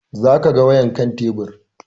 Za ka ga wayan kan tebur